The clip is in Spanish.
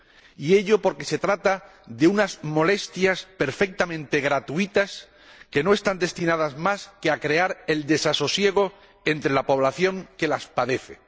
Y ello porque se trata de unas molestias perfectamente gratuitas que no están destinadas más que a crear el desasosiego entre la población que las padece.